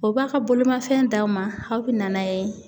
O b'a ka bolimafɛn d'aw ma, aw be na n'a ye.